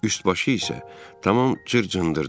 Üst-başı isə tamam cır-cındırdı.